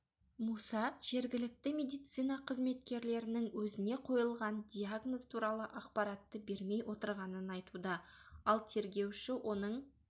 муса жергілікті медицина қызметкерлерінің өзіне қойылған диагноз туралы ақпаратты бермей отырғанын айтуда ал тергеуші оның